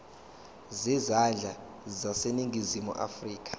zezandla zaseningizimu afrika